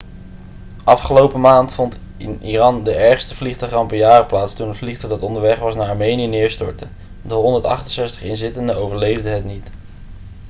afgelopen maand vond in iran de ergste vliegtuigramp in jaren plaats toen een vliegtuig dat onderweg was naar armenië neerstortte de 168 inzittenden overleefden het niet